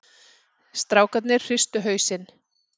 Strákarnir hristu hausinn.